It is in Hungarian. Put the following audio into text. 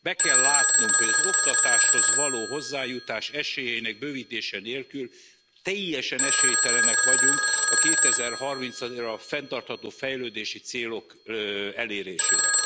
Be kell látnunk, hogy az oktatáshoz való hozzájutás esélyeinek bővítése nélkül teljesen esélytelenek vagyunk 2030 ra a fenntartható fejlődési célok elérésére.